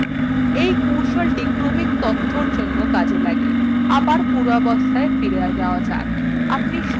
এই কৌশলটি ক্রমিক তথ্যর জন্য কাজ করে